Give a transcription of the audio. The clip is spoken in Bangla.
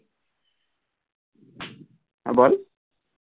হ্যাঁ বল